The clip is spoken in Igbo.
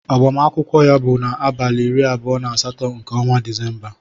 Agbamakwụkwọ ya bụ abalị iri abụọ na asatọ nke ọnwa Disemba.